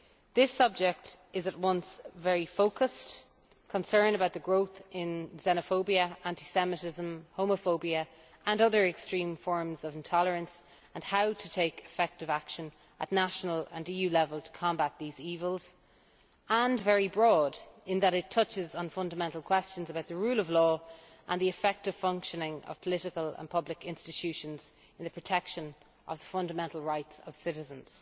This subject is at once very focused concern about the growth in xenophobia, anti Semitism, homophobia and other extreme forms of intolerance and how to take effective action at national and at EU level to combat these evils and very broad, in that it touches on fundamental questions about the rule of law and the effective functioning of political and public institutions in the protection of the fundamental rights of citizens.